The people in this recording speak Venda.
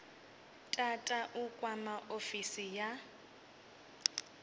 tata u kwama ofisi ya